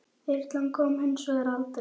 Þyrlan kom hins vegar aldrei.